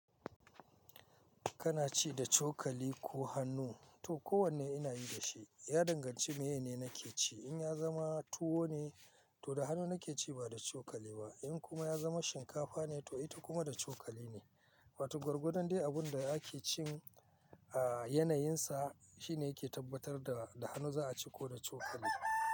Kana ci da cokali ko hannu? To kowanne ina yin da shi. Ya danganci mene nake ci. In ya zama tuwo ne, to da hannu nake ci ba da cokali ba. In kuma ya zama shinkafa ne, to ita kuma da cokali ne. Wato gwargwadon dai abun da ake cin a yanayinsa shine yake tabbatar da da hannu za a ci ko da cokali.